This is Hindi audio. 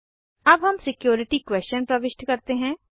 अब हम सिक्योरिटी क्वेशन प्रविष्ट करते हैं